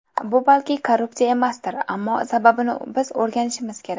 Bu balki korrupsiya emasdir, ammo sababini biz o‘rganishimiz kerak.